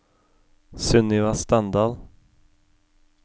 Sunniva Standal